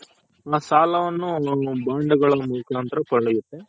ಸಾಲವನ್ನು